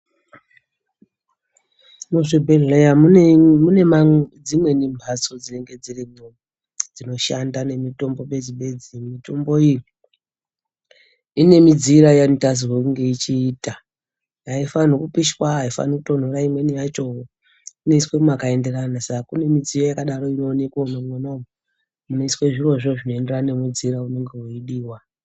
Muzvibhedhlera mune dzimweni mhatso dzinenge dziripo dzinoshanda nemitombo bedzi bedzi. Mitombo iyi ine mudziiro wainotarisirwa kunge yechiita. Aifanirwi kupisha aifanirwi kutonhora imweni yacho inoiswe mwakaenderana saka kune midziyo yakadaro inoonekwe mwona umwomwo munoiswa zvirozvo zvinoenderana nemidziyo inenge yeidiwa.